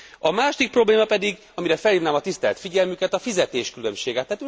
A második probléma pedig, amire felhívnám a tisztelt figyelmüket, a fizetésbeli különbségek.